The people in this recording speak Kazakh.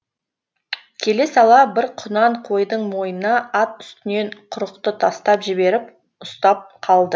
келе сала бір құнан қойдың мойнына ат үстінен құрықты тастап жіберіп ұстап қалды